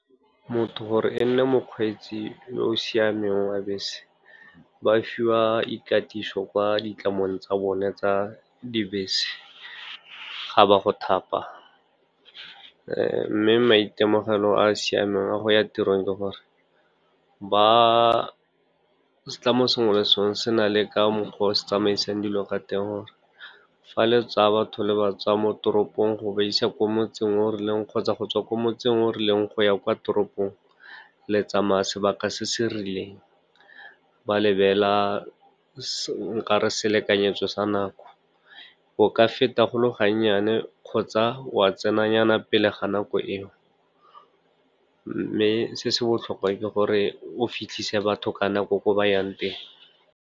Motho gore e nne mokgweetsi yo o siameng wa bese, ba fiwa ikatiso kwa ditlamong tsa bone tsa dibese, ga ba go thapa. Mme maitemogelo a a siameng a go ya tirong ke gore setlamo sengwe le sengwe se na le ka mokgwa o se tsamaisang dilo ka teng, gore fa le tsa batho le ba tsaya mo toropong go ba isa ko motseng o rileng kgotsa go tswa ko motseng o rileng go ya kwa toropong le tsamaya sebaka se se rileng. Ba lebela nkare selekanyetso sa nako o ka feta go le ga nnyane kgotsa wa tsena nyana pele ga nako eo, mme se se botlhokwa ke gore o fitlhisa batho ka nako ko ba yang teng.